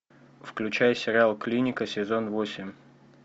включай сериал клиника сезон восемь